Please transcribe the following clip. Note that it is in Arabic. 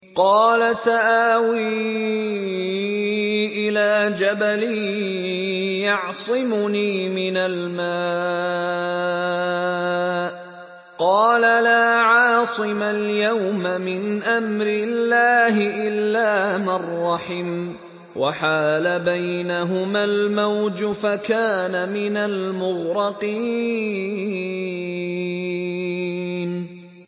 قَالَ سَآوِي إِلَىٰ جَبَلٍ يَعْصِمُنِي مِنَ الْمَاءِ ۚ قَالَ لَا عَاصِمَ الْيَوْمَ مِنْ أَمْرِ اللَّهِ إِلَّا مَن رَّحِمَ ۚ وَحَالَ بَيْنَهُمَا الْمَوْجُ فَكَانَ مِنَ الْمُغْرَقِينَ